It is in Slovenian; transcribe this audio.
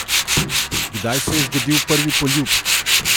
Kdaj se je zgodil prvi poljub?